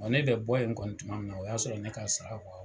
ne bɛ bɔ in kɔni tuma min na, o y'a sɔrɔ ne k'a sara